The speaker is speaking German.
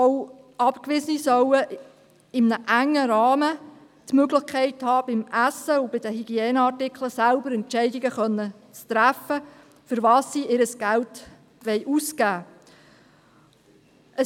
Auch Abgewiesene sollen in einem engen Rahmen die Möglichkeit haben, beim Essen und bei den Hygieneartikeln selbst Entscheidungen zu treffen, wofür sie ihr Geld ausgeben wollen.